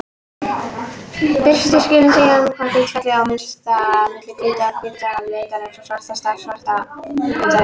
Birtuskilin segja til um hlutfallið á milli hvítasta hvíta litarins og svartasta svarta litarins.